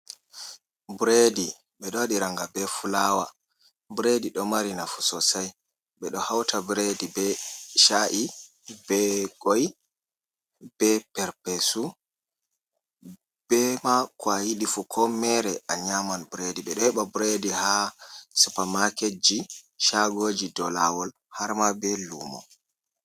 Bireedi, ɓe ɗo waɗiranga be fulaawa, bireedi ɗo mari nafu soosay, ɓe ɗo hawta bireedi be caa’i, be koy, be perpeesu, be maa ko a yidɗi fuu, ko meere a nyaaman bireedi, ɓe ɗo hebɓa bireedi haa supamaaketji, caagooji, dow laawol, harma be luumo.